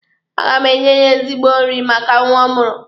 A ga m enye ya ezigbo nri maka nwa ọ mụrụ.